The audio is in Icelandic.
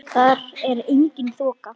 Þar er engin þoka.